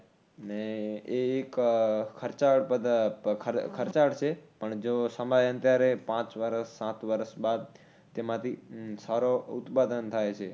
ને એ એક ખર્ચાળ પધ ખર્ચાળ છે. પણ જો સમયાંતરે પાંચ વર્ષ સાત વર્ષ બાદ તેમાથી સારો ઉત્પાદન થાય છે